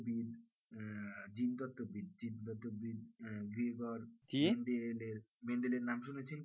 b for mendel এর নাম শুনেছেন